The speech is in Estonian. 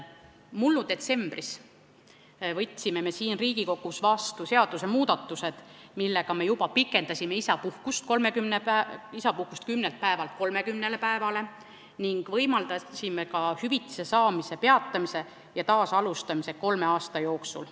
Mullu detsembris võtsime siin Riigikogus vastu seadusmuudatused, millega me pikendasime isapuhkust 10 päevast 30 päevani ning võimaldasime ka hüvitise saamist kolme aasta jooksul peatada ja taasalustada.